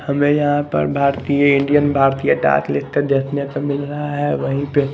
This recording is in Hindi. हमें यहां पर भारतीय इंडियन भारतीय डाक लिख कर देखने को मिल रहा है वही पे --